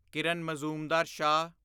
Kiran Mazumdar Shaw